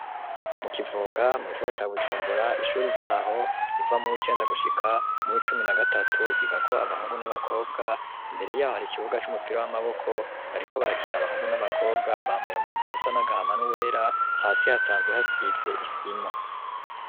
Mu kivoga mugisagara ca Bujumbura ishuri ryaho iva mu w'icenda gushika mu icumi na gatatu ryiga ko abahungu n'abakobwa imbere yaho hari ikibuga c'umupira w'amaboko bari ko barakina abahungu n'abakobwa bambaye umwambaro usa n'agahama n'uwera hasi hasanzwe hasize isima.